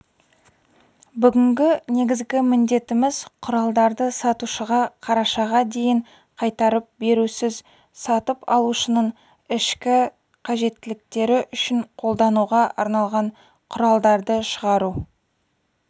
бүгінгі негізгі міндетіміз құралдарды сатушыға қарашаға дейін қайтарып берусіз сатып алушының ішкі қажеттіліктері үшін қолдануға арналған құралдарды шығару